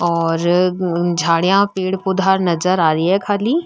और झाड़ियां पेड़ पौधा नजर आ रही है खाली।